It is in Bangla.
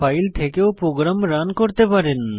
ফাইল থেকেও প্রোগ্রাম রান করতে পারেন